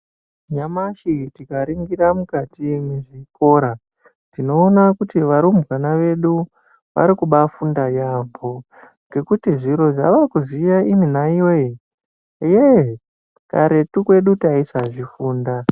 Nyamashi tikaringira mukati mechikora tinoona kuti varumbwana vedu vari kubafunda yaambo, ngekuti zviro zvavari kuziya ino naiyoyo, eeh karetu kwedu taisazvifunda.